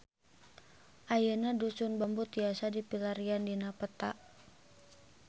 Ayeuna Dusun Bambu tiasa dipilarian dina peta